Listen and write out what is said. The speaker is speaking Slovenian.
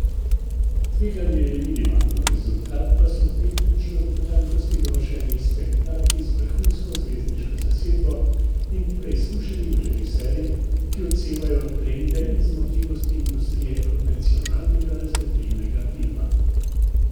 Tveganje je minimalno, rezultat pa so tehnično do potankosti dovršeni spektakli z vrhunsko zvezdniško zasedbo in preizkušenim režiserjem, ki odsevajo trende in zmogljivosti industrije konvencionalnega razvedrilnega filma.